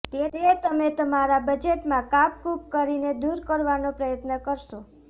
તે તમે તમારા બજેટમાં કાપકૂપ કરીને દુર કરવાનો પ્રયત્ન કરશો